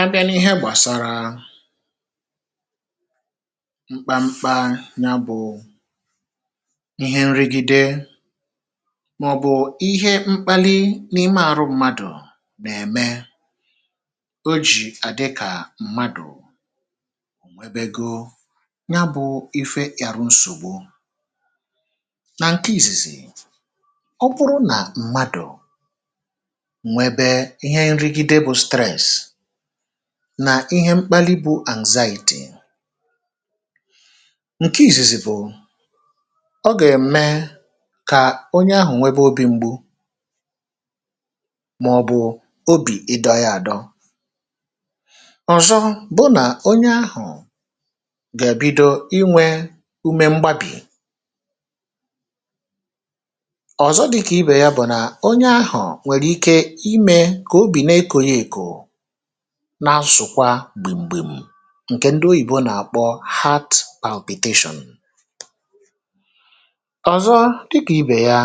A bịa n’ihe gbasara mkpa mkpa ya bụ̀ ihe nrigide màọ̀bụ̀ ihe mkpali n’ime àrụ mmadụ̀ nà-ème o jì àdị kà mmadụ̀ ò nwebego ya bụ̇ ife àrụ nsògbu. na ǹke ìzìzì, ọ bụrụ nà mmadụ̀ nwebe ihe nrigide bụ stress, ihe mkpali bụ̇ anxiety, ǹke ìzìzì bụ̀, ọ gà-ème kà onye ahụ̀ nwẹbẹ obi̇ mgbu màọ̀bụ̀ obì ịdọ̇ yȧ àdọ. Ọzọ bụ nà onye ahụ̀ gà-èbido inwè ume mgbabì, ọ̀zọ dịkà ibè ya bụ̀ nà onye ahụ̀ nwèrè ike imẹ̇ kobi neko ya eko na-asụ̀kwa gbìm gbim ǹkè ndị oyìbo nà-àkpọ heart palpitation. Ọzọ dịkà ibè ya